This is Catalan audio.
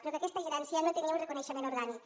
però aquesta gerència no tenia un reconeixement orgànic